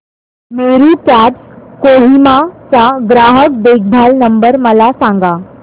Meru cabs Kohima चा ग्राहक देखभाल नंबर मला सांगा